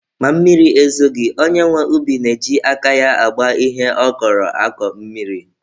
Ma mmiri ezoghi, onye nwe ubi na-eji aka ya agba ihe ọ kọrọ akọ mmiri.